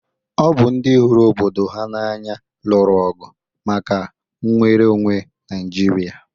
Ọ bụ ndị hụrụ obodo ha n'anya lụrụ ọgụ maka nnwere onwe Naijiria.